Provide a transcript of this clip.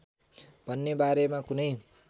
भन्ने बारेमा कुनै